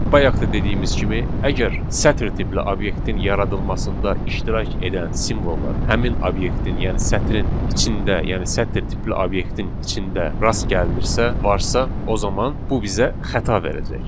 Bayaq da dediyimiz kimi, əgər sətr tipli obyektin yaradılmasında iştirak edən simvollar həmin obyektin, yəni sətrin içində, yəni sətr tipli obyektin içində rast gəlinirsə, varsa, o zaman bu bizə xəta verəcək.